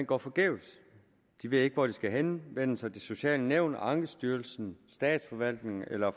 går forgæves de ved ikke hvor de skal henvende sig det sociale nævn ankestyrelsen statsforvaltningen eller